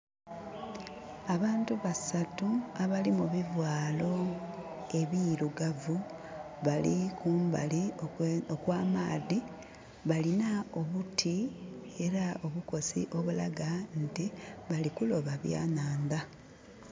Abantu basatu abali mu bivaalo ebirugavu bali kumbali okw'amaadhi. Balina obuti, era obukosi obulaga nti bali kuloba byanhandha.